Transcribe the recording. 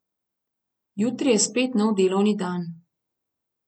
Jutri je spet nov delovni dan.